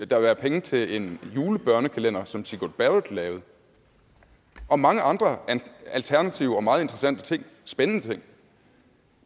der være penge til en julebørnekalender som sigrud barrett lavede og mange andre alternative og meget interessante ting spændende ting